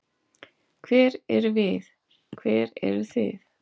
Hver erum við, hver eru þið?